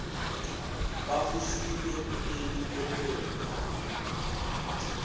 babusile kuleli kwenele